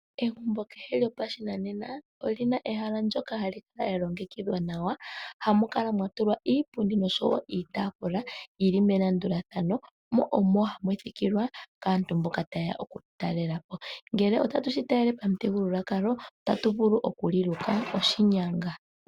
Egumbo kehe lyopashinanena olina ehala ndyoka hali kala lyalongekidhwa nawa. Ohamu kala mwatulwa iipundi noshowo iitaafula yi li melandulathano. Omo hamu thikilwa kaantu mboka taye ya okututalela po. Ngele otatu talele komuthigululwakalo, otatu vulu okuliluka oshinyanga.